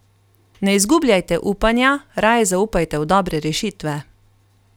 Ne izgubljajte upanja, raje zaupajte v dobre rešitve.